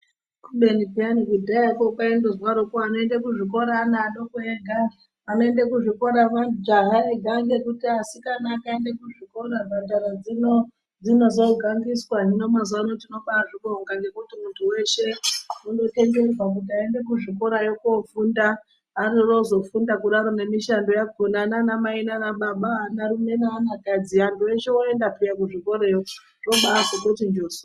Kubeni peyani kudhayakwo kwaindozwarokwo vanoenda kuzvikora ana adoko ega anoenda kuzvikora majaha ega ngekuti asikana akaenda kuzvikora mhandara dzino dzinozogangiswa hino mazuvaanaya tinobaazvibonga ngekuti muntu weshe ondotenderwa kuti aende kuzvikorayo kofunda zvarafunda kudarokwo nemishando yakona nanamai nanababa anarume neanakadzi antu eshe oenda peya kuzvikorayo zvabaazototi njoso.